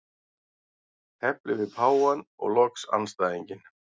Tefli við páfann og loks andstæðinginn.